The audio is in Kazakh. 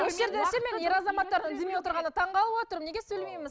осы жерде ше мен ер азаматтар үндемей отырғанына таң қалып отырмын неге сөйлемейміз